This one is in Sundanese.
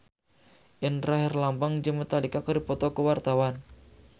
Indra Herlambang jeung Metallica keur dipoto ku wartawan